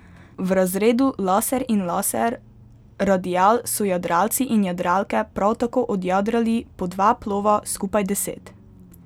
V razredu laser in laser radial so jadralci in jadralke prav tako odjadrali po dva plova, skupaj deset.